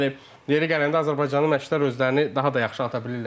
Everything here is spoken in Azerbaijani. Yəni yeri gələndə Azərbaycanın məşqçilər özlərini daha da yaxşı ata bilirlər.